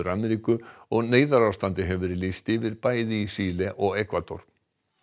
Ameríku og neyðarástandi hefur verið lýst yfir bæði í Síle og Ekvador